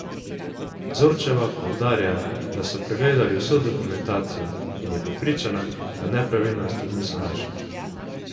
Zorčeva poudarja, da so pregledali vso dokumentacijo, in je prepričana, da nepravilnosti niso našli.